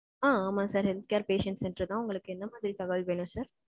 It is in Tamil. அ, ஆமா sir. Health care patient centre தான். உங்களுக்கு என்ன மாதிரி தகவல் வேணும் sir.